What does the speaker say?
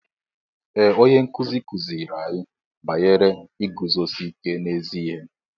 Ee onye nkụzi kụziiri anyị banyere iguzosi ike n'ezi ihe.